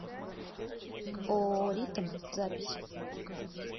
ооо ритм запись